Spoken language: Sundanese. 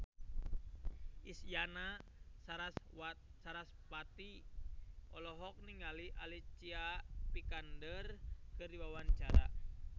Isyana Sarasvati olohok ningali Alicia Vikander keur diwawancara